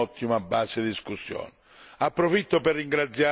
possa diventare un'ottima base di discussione.